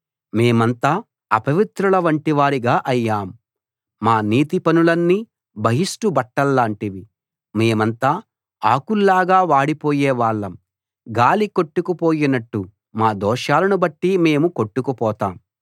మేమంతా అపవిత్రులవంటివారిగా అయ్యాం మా నీతి పనులన్నీ బహిష్టు బట్టల్లాంటివి మేమంతా ఆకుల్లాగా వాడిపోయే వాళ్ళం గాలి కొట్టుకుపోయినట్టు మా దోషాలను బట్టి మేము కొట్టుకుపోతాం